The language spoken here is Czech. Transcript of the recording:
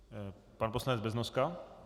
Pan poslanec Beznoska?